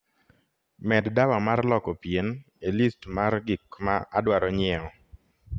med dawa mar lwoko pien e list mar gik ma adwaro nyiewo